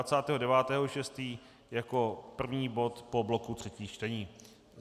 A 29. 6. jako první bod po bloku třetích čtení.